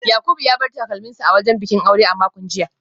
Yakubu ya bar takalminsa a wajen bikin aure a makon jiya